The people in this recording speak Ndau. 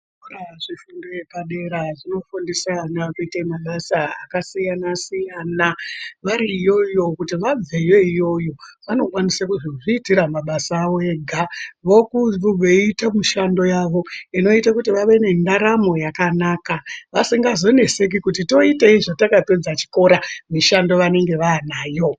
Zvikora zvefundo yepadera zvinofundisa ana kuite mabasa akasiyana siyana kuti vari iyoyo kuita kuti vabveyo iyoyo vanokwanisa kuzozviitira mishando yavo inoita kuti vave nendaramo yakanaka vasingazoneseki kuti voitei zvatakapedza chikora mishando vanenge vaanayo.